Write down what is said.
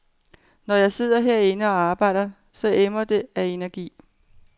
Når jeg sidder herinde og arbejder, så emmer det af energi.